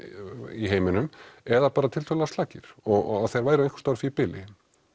í heiminum eða slakir og þeir væru einhvers á því bili